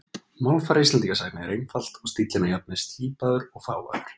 Málfar Íslendingasagna er einfalt og stíllinn að jafnaði slípaður og fágaður.